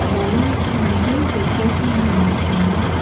Balloons வந்து decoration பண்ணியிருக்காங்க.